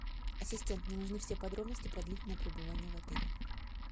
ассистент мне нужны все подробности про длительное пребывание в отеле